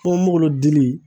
Ponponpogolon dili